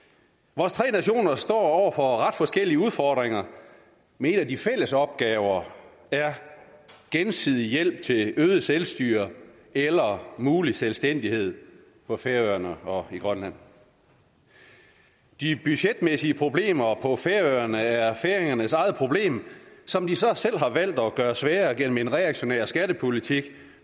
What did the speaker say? vores tre nationer står over for ret forskellige udfordringer men en af de fælles opgaver er gensidig hjælp til øget selvstyre eller mulig selvstændighed for færøerne og grønland de budgetmæssige problemer på færøerne er færingernes eget problem som de så selv har valgt at gøre sværere gennem en reaktionær skattepolitik